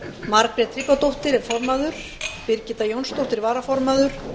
margrét tryggvadóttir er formaður birgitta jónsdóttir varaformaður